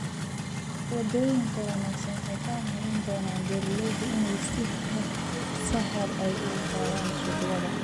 Wadooyinka wanaagsan waxay ka caawin doonaan beeralayda inay si sahal ah u gaaraan suuqyada.